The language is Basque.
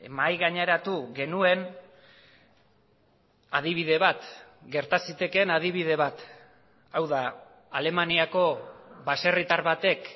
mahai gaineratu genuen adibide bat gerta zitekeen adibide bat hau da alemaniako baserritar batek